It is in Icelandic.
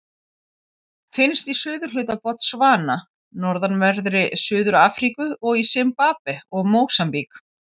Finnst í suðurhluta Botsvana, norðanverðri Suður-Afríku og í Simbabve og Mósambík.